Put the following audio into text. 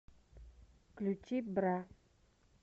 включи бра